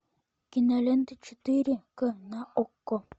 кинолента четыре к на окко